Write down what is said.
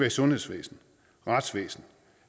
i sundhedsvæsenet retsvæsenet